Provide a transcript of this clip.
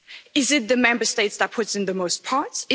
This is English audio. Is it the Member State that puts in the most parts?